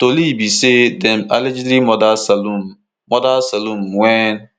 tori be say dem allegedly murder salome murder salome wen